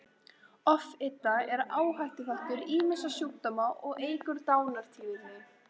Offita er áhættuþáttur ýmissa sjúkdóma og eykur dánartíðni.